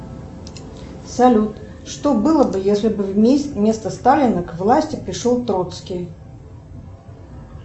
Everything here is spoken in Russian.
салют что было бы если бы вместо сталина к власти пришел троцкий